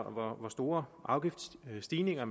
hvor store afgiftsstigninger